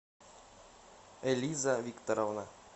элиза викторовна